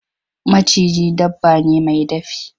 Maciji dabba ne mai dafi.